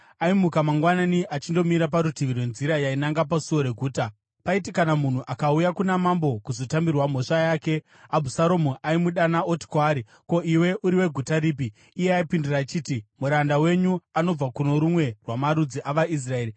Aimuka mangwanani achindomira parutivi rwenzira yainanga pasuo reguta. Paiti kana munhu akauya kuna mambo kuzotambirwa mhosva yake, Abhusaromu aimudana oti kwaari, “Ko, iwe uri weguta ripi?” Iye aipindura achiti, “Muranda wenyu anobva kuno rumwe rwamarudzi avaIsraeri.”